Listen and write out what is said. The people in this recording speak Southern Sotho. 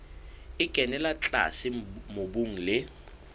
e kenella tlase mobung le